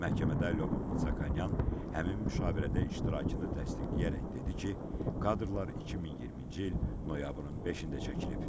Məhkəmədə Lyobomnonyan həmin müşavirədə iştirakını təsdiqləyərək dedi ki, kadrlar 2020-ci il noyabrın 5-də çəkilib.